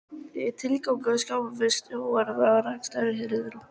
Er ekki tilgangurinn að skapa sjávarútveginum góð rekstrarskilyrði?